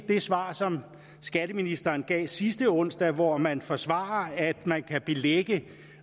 det svar som skatteministeren gav sidste onsdag hvori han forsvarer at man kan belægge